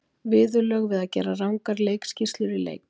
Viðurlög við að gera rangar leikskýrslur í leik?